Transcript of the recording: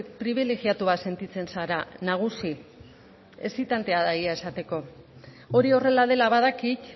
pribilegiatua sentitzen zara nagusi exitantea da egia esateko hori horrela dela badakit